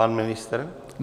Pan ministr?